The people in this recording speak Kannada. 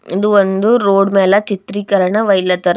ಇದು ಒಂದು ರೋಡ್ ಮ್ಯಾಲ ಚಿತ್ರೀಕರಣ ಹೊಯ್ಲತ್ತಾರ.